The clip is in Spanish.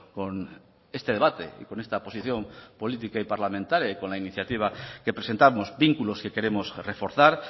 con este debate y con esta posición política y parlamentaria y con la iniciativa que presentamos vínculos que queremos reforzar